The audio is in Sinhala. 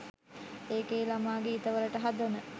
ඒකෙ ළමා ගීත වලට හදන